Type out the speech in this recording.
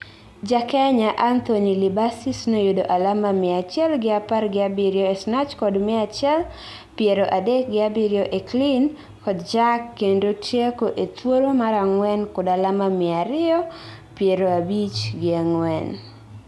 Jakenya Anthony Libasis noyudo alama mia achiel gi apar gi abirio e Snatch kod mia achiel piero adek gi abiriyo e Clean kod Jerk kendo tieko e thuolo mar ang'wen kod alama mia ariyo piero abich gi ang'wen.